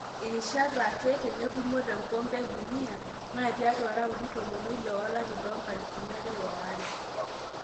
Rishat ake tenetumo tenkompe edunia naa tiatua raundi tomon oile olari le nkalisuni are oare.